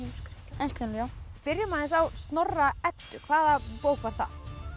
heimskringlu byrjum aðeins á Snorra Eddu hvaða bók var það